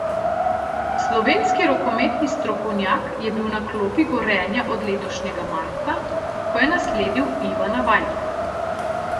Slovenski rokometni strokovnjak je bil na klopi Gorenja od letošnjega marca, ko je nasledil Ivana Vajdla.